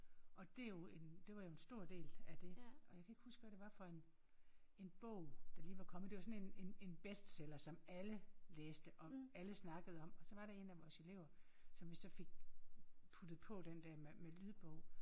Og det jo en det var en stor del af det og jeg kan ikke huske hvad det var for en en bog der lige var kommet det var sådan en en en en bestseller som alle læste og alle snakkede om og så var der en af vores elever som vi så fik puttet på den der med med lydbog